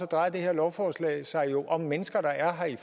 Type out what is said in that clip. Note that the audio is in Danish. drejer det her lovforslag sig jo om mennesker der er her i